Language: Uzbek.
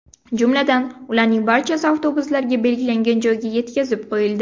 Jumladan, ularning barchasi avtobuslarda belgilangan joyga yetkazib qo‘yildi.